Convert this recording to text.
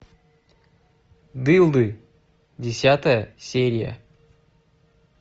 дылды десятая серия